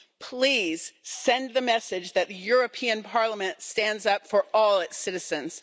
Please send the message that the European Parliament stands up for all its citizens.